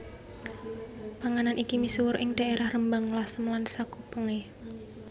Panganan iki misuwur ing dhaerah Rembang Lasem lan sakupenge